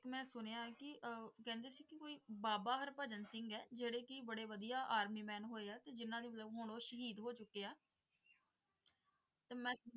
ਮੈਂ ਸੁਣਿਆ ਹੈ ਕਿ ਅਹ ਕਹਿੰਦੇ ਸੀ ਕਿ ਕੋਈ ਬਾਬਾ ਹਰਭਜਨ ਸਿੰਘ ਹੈ ਜਿਹੜੇ ਕਿ ਬੜੇ ਵਧੀਆ army man ਹੋਏ ਆ ਤੇ ਜਿਹਨਾਂ ਦੇ ਮਤਲਬ ਹੁਣ ਉਹ ਸ਼ਹੀਦ ਹੋ ਚੁੱਕੇ ਆ ਤੇ ਮੈਂ